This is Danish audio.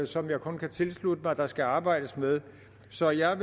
som jeg kun kan tilslutte mig der skal arbejdes med så jeg